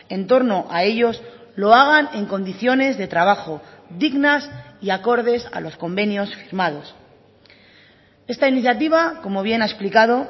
en torno a ellos lo hagan en condiciones de trabajo dignas y acordes a los convenios firmados esta iniciativa como bien ha explicado